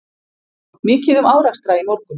Mikið um árekstra í morgun